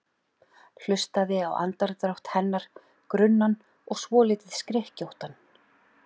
Hlustaði á andardrátt hennar, grunnan og svolítið skrykkjóttan.